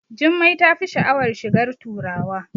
Jummai tafi sha'awar shigar turawa